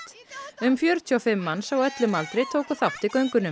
um fjörutíu og fimm manns á öllum aldri tóku þátt í göngunum